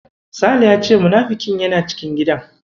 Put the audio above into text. Sale ya ce munafikin yana cikin gidan.